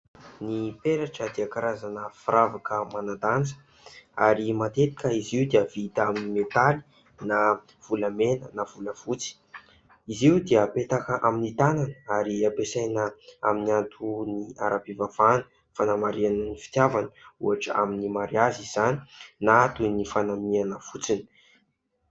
Ny peratra dia karazana firavaka manan-danja ary matetika izy io dia vita amin'ny metaly na volamena na volafotsy. Izy io dia apetaka amin'ny tanana ary ampiasaina amin'ny antony ara-pivavahana hanamarihana ny fitiavana, ohatra amin'ny mariazy izany na toy ny fanamiana fotsiny.